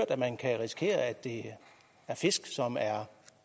at man kan risikere at det er fisk som er